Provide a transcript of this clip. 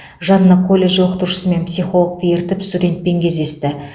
жанына колледж оқытушысы мен психологты ертіп студентпен кездесті